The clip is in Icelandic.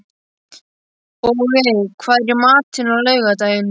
Bogey, hvað er í matinn á laugardaginn?